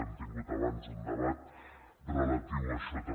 hem tingut abans un debat relatiu a això també